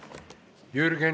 Aitäh!